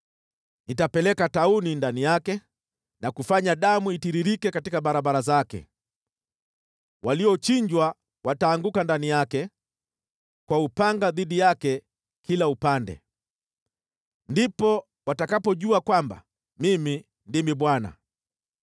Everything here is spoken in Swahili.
Nitapeleka tauni ndani yake na kufanya damu itiririke katika barabara zake. Waliochinjwa wataanguka ndani yake, kwa upanga dhidi yake kila upande. Ndipo watakapojua kwamba Mimi ndimi Bwana .